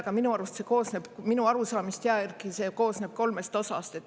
Aga minu arust see koosneb minu arusaamist järgi see koosneb kolmest osast.